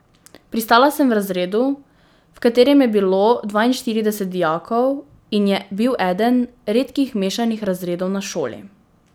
Pristala sem v razredu, v katerem je bilo dvainštirideset dijakov in je bil eden redkih mešanih razredov na šoli.